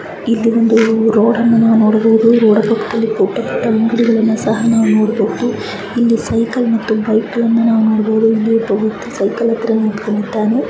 ಇಲ್ಲಿ ಒಂದು ರೋಡ್ ಅನ್ನು ನೋಡಬಹುದು ರೋಡ್ ಪಕ್ಕದಲ್ಲಿ ಪುಟ್ಟ ಪುಟ್ಟ ಅಂಗಡಿಯನ್ನು ಸಹ ನಾವು ನೋಡಬಹುದು ಇಲ್ಲಿ ಸೈಕಲ್ ಮತ್ತೆ ಬೈಕೆಗಳನ್ನ ನೋಡಬಹುದು ಒಬ್ಬ ವ್ಯಕ್ತಿ ಸೈಕಲ್ ಹತ್ರ ನಿತ್ಕೊಂಡ್ ಇದ್ದಾನೆ.